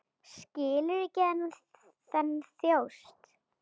Skilur ekki þennan þjóst.